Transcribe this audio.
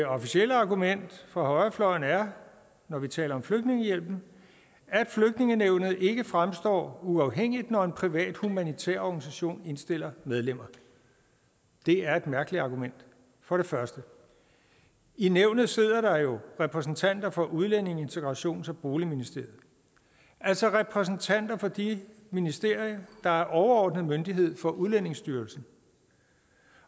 officielle argument fra højrefløjen er når vi taler om flygtningehjælpen at flygtningenævnet ikke fremstår uafhængigt når en privat humanitær organisation indstiller medlemmer det er et mærkeligt argument for det første i nævnet sidder der jo repræsentanter for udlændinge integrations og boligministeriet altså repræsentanter for det ministerium der er overordnet myndighed for udlændingestyrelsen